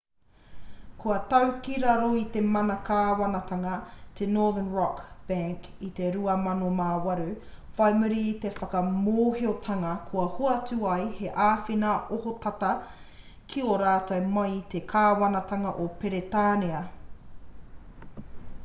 kua tau ki raro i te mana kāwanatanga te northern rock bank i te 2008 whai muri i te whakamōhiotanga kua hoatu ai he āwhina ohotata ki a rātou mai i te kāwanatanga o peretānia